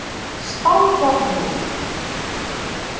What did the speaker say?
Stangarhyl